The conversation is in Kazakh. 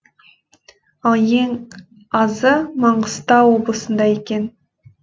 ал ең азы маңғыстау облысында екен